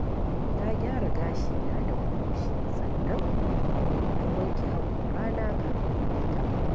Na gyara gashina da buroshi sannan na wanke haƙorana kafin na fita.